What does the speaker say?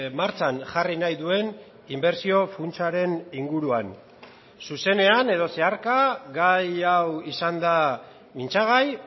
martxan jarri nahi duen inbertsio funtsaren inguruan zuzenean edo zeharka gai hau izan da mintzagai